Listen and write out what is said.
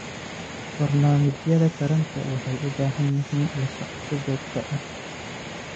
Barnaamijyada taranta waxay u baahan yihiin la socosho joogto ah.